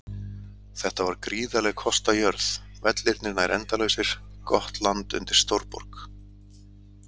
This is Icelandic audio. Þetta var gríðarleg kostajörð, vellirnir nær endalausir, gott land undir stórborg.